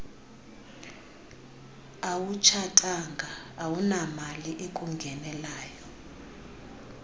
awutshatanga awunamali ekungenelayo